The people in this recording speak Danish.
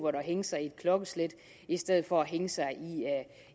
at hænge sig i et klokkeslæt i stedet for at hænge sig